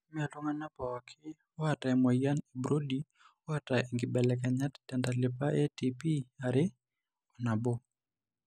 Mmee iltung'anak pooki oata emuoyian eBrody oata inkibelekenyat tentalipa eATPareAnabo.